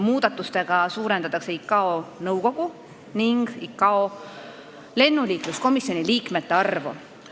Muudatustega suurendatakse ICAO nõukogu ning ICAO lennuliikluskomisjoni liikmete arvu.